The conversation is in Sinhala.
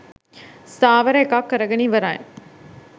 ස්ථාවර එකක් කරගෙන ඉවරයි.